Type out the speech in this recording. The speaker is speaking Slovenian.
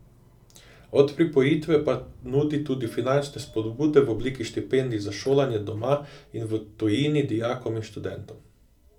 Od pripojitve pa nudi tudi finančne vzpodbude v obliki štipendij za šolanje doma in v tujini dijakom in študentom.